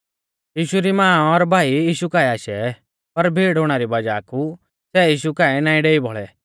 यीशु री मां और भाई यीशु काऐ आशै पर भीड़ हुणा री वज़ाह कु सै यीशु काऐ नाईं डेई बौल़ै